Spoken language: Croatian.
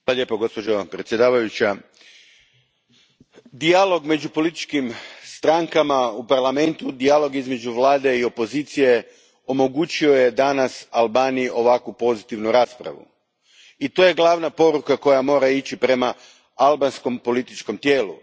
Poštovana predsjednice, dijalog među političkim strankama u Parlamentu, dijalog između Vlade i opozicije, omogućio je danas Albaniji ovako pozitivnu raspravu. To je glavna poruka koja mora ići prema albanskom političkom tijelu.